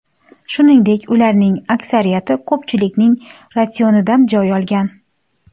Shuningdek, ularning aksariyati ko‘pchilikning ratsionidan joy olgan.